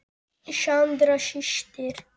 Sandra systir.